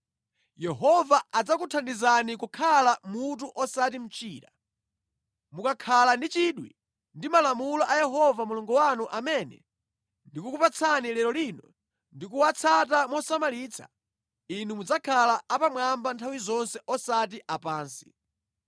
Yehova adzakuthandizani kukhala mutu osati mchira. Mukakhala ndi chidwi ndi malamulo a Yehova Mulungu wanu amene ndikukupatsani lero lino ndi kuwatsata mosamalitsa, inu mudzakhala apamwamba nthawi zonse osati apansi.